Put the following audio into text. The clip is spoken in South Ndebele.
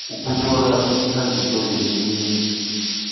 esinjalo namkha kusasele